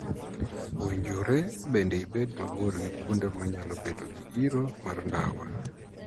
Owinjore bende ibed mabor gi kuonde ma nyalo bedo gi iro mar ndawa.